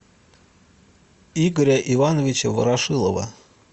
игоря ивановича ворошилова